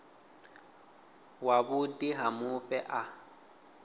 wa vhuḓi ha mufhe a